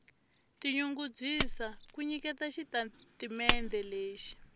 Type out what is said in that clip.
tinyungubyisa ku nyiketa xitatimendhe lexi